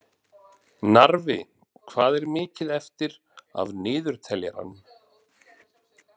Narfi, hvað er mikið eftir af niðurteljaranum?